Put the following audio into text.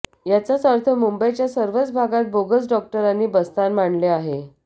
याचाच अर्थ मुंबईच्या सर्वच भागांत बोगस डॉक्टरांनी बस्तान मांडले आहे